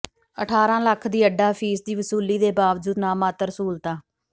ਅਠਾਰਾਂ ਲੱਖ ਦੀ ਅੱਡਾ ਫੀਸ ਦੀ ਵਸੂਲੀ ਦੇ ਬਾਵਜੂਦ ਨਾਮਾਤਰ ਸਹੂਲਤਾਂ